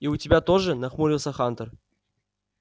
и у тебя тоже нахмурился хантер